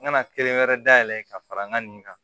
N ka na kelen wɛrɛ dayɛlɛ ka fara n ka nin kan